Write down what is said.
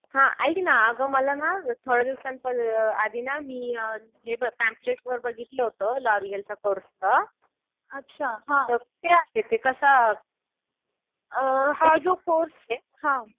हा. ऐक ना अगं मला ना थोड्या दिवसांआधी ना मी हे पँम्लेटवर बघितलं होतं लॉरिअलचं कोर्सचं. तर ते कसं, त्याचे